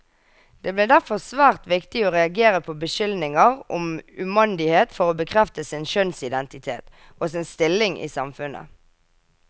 Det ble derfor svært viktig å reagere på beskyldninger om umandighet for å bekrefte sin kjønnsidentitet, og sin stilling i samfunnet.